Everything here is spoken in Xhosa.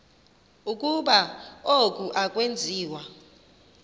ukuba oku akwenziwa